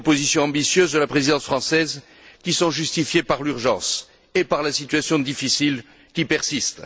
Des propositions ambitieuses de la présidence française, qui sont justifiées par l'urgence et par la situation difficile qui persiste.